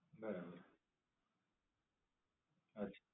બરાબર, સાચી